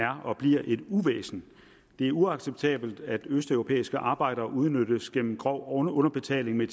er og bliver et uvæsen det er uacceptabelt at østeuropæiske arbejdere udnyttes gennem grov underbetaling med